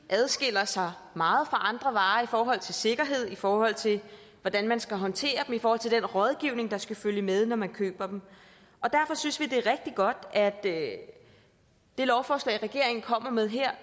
adskiller sig meget fra andre varer i forhold til sikkerhed i forhold til hvordan man skal håndtere dem i forhold til den rådgivning der skal følge med når man køber dem og derfor synes vi det er rigtig godt at det lovforslag regeringen kommer med her